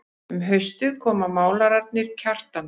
Um haustið koma málararnir Kjartan